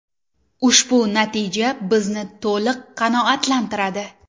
Ushbu natija bizni to‘liq qanoatlantiradi.